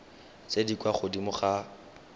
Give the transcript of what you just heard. tse di kwa godimo ga